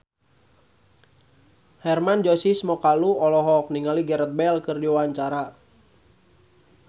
Hermann Josis Mokalu olohok ningali Gareth Bale keur diwawancara